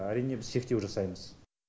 әрине біз шектеу жасаймыз